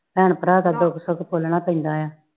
ਭੈਣ ਭਰਾ ਦਾ ਦੁੱਖ ਸੁੱਖ ਫੋਲਣਾ ਪੈਂਦਾ ਆ